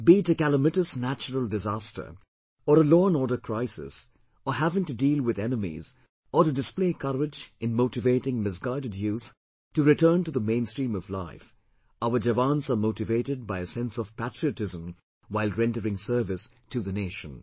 Be it a calamitous natural disaster or a law and order crisis or having to deal with enemies or to display courage in motivating misguided youth to return to the mainstream of life, Our Jawans are motivated by a sense of patriotism while rendering service to the nation